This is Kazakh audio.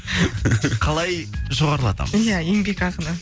қалай жоғарылатамыз ия еңбекақыны